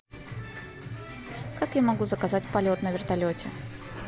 как я могу заказать полет на вертолете